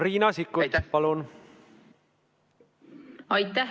Riina Sikkut, palun!